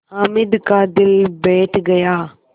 हामिद का दिल बैठ गया